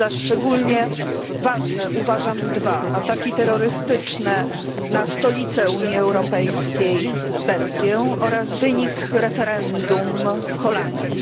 Za szczególnie ważne uważam dwa ataki terrorystyczne na stolicę Unii Europejskiej Belgię oraz wynik referendum w Holandii.